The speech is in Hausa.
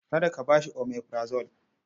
Kada ka ba shi omeprazole.